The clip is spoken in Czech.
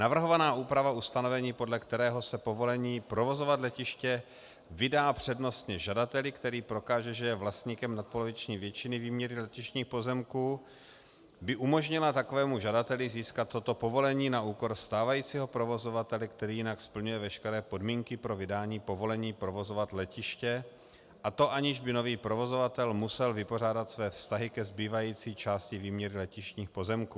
Navrhovaná úprava ustanovení, podle kterého se povolení provozovat letiště vydá přednostně žadateli, který prokáže, že je vlastníkem nadpoloviční většiny výměry letištních pozemků, by umožnila takovému žadateli získat toto povolení na úkor stávajícího provozovatele, který jinak splňuje veškeré podmínky pro vydání povolení provozovat letiště, a to aniž by nový provozovatel musel vypořádat své vztahy ke zbývající části výměry letištních pozemků.